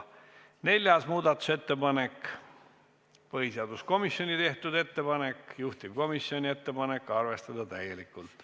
Neljas muudatusettepanek, põhiseaduskomisjonilt, juhtivkomisjoni ettepanek: arvestada täielikult.